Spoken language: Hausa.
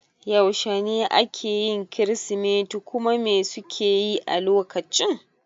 Yaushe ne ake yin kirismeti kuma me suke yi a lokacin?